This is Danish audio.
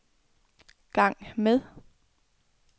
gang med